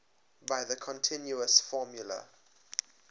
by the continuous formula